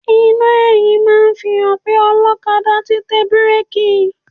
Iná ẹ̀yìn máa ń fi hàn pé ọlọ́kadà ti tẹ bíréèkì.